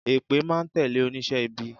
Èpè máa n tẹ̀lé onísé ibi